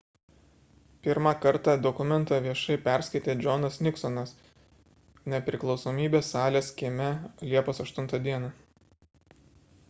pirmą kartą dokumentą viešai perskaitė džonas niksonas nepriklausomybės salės kieme liepos 8 d